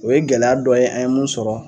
O ye gɛlɛya dɔ ye an ye mun sɔrɔ.